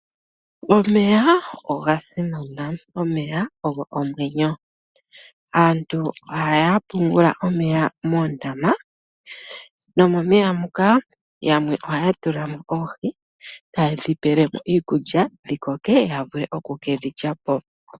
Omeya oga simana. Omeya ogo omwenyo. Aantu ohaya pungula omeya moondama nomomeya muka yamwe ohaa tula mo oohi taye dhi pele mo iikulya, dhi koke ya vule oku ke dhi lya po.